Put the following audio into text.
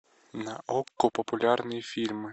на окко популярные фильмы